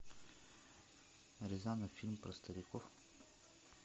рязанов фильм про стариков